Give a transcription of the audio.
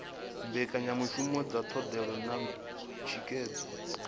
mbekanyamishumo dza ndondolo na thikhedzo